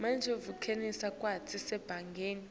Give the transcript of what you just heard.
vumela tikhatsi tasebhange